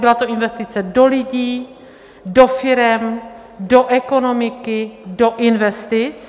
Byla to investice do lidí, do firem, do ekonomiky, do investic.